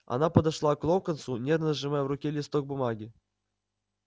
она подошла к локонсу нервно сжимая в руке листок бумаги